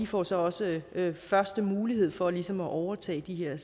får så også første mulighed for ligesom at overtage de her